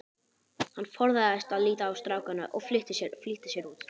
Hann forðaðist að líta á strákana og flýtti sér út.